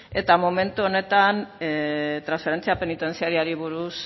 eta momentu honetan transferentzia penitentziarioari buruz